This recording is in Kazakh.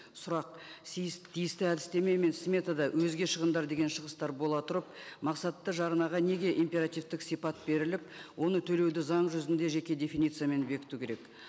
сұрақ тиісті әдістеме мен сметада өзге шығындар деген шығыстар бола тұрып мақсатты жарнаға неге императивтік сипат беріліп оны төлеуді заң жүзінде жеке дефинициямен бекіту керек